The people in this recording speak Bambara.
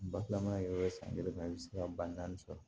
Balaman yɛrɛ san kelen ma i bɛ se ka ba naani sɔrɔ